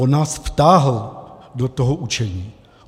On nás vtáhl do toho učení.